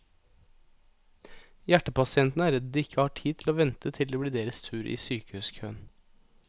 Hjertepasientene er redd de ikke har tid til å vente til det blir deres tur i sykehuskøen.